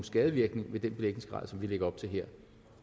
skadevirkninger med den belægningsgrad som vi lægger op til her